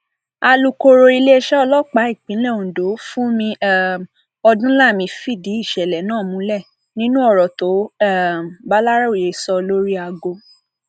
alūkọrọ iléeṣẹ ọlọpàá ìpínlẹ ondo fúnmi um odúnlami fìdí ìṣẹlẹ náà múlẹ nínú ọrọ tó um bàlàròyé sọ lórí àgọ